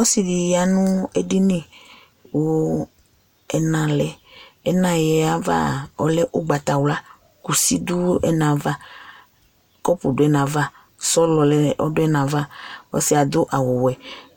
Ɔsɩ ɖɩ ƴa nʋ ƙʋ ɛna lɛƐna ƴɛava ɔlɛ ʋgbatawlaƘusi ɖʋ ɛnaava, ƙɔpʋ ɖʋ ɛnaava, sɔlɔ lɛƆsɩɛ aɖʋ awʋ wɛ,